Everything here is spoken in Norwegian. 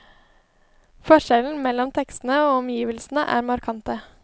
Forskjellen mellom tekstene og omgivelsene er markante.